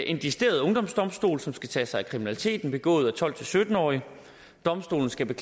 en decideret ungdomsdomstol som skal tage sig af kriminaliteten begået af tolv til sytten årige domstolen skal